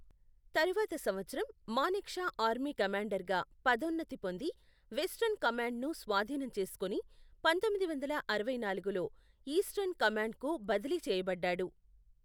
తరువాత సంవత్సరం, మానెక్షా ఆర్మీ కమాండర్గా పదోన్నతి పొంది వెస్ట్రన్ కమాండ్ను స్వాధీనం చేసుకుని, పంతొమ్మిది వందల అరవై నాలుగులో ఈస్టర్న్ కమాండ్కు బదిలీ చేయబడ్డాడు.